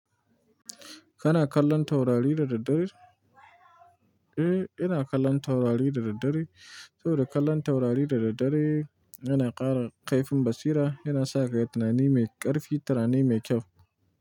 Kana kallon taurari da daddare? Eh, ina kallon taurari da daddare. Saboda kallon taurari da daddare yana ƙara ƙaifin basira, yana sa ka yi tunani mai ƙarfi, tunani mai kyau.